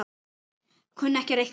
Kunni ekki að reikna.